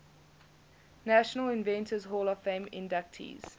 national inventors hall of fame inductees